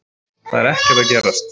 Það er ekkert að gerast